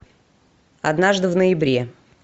однажды в ноябре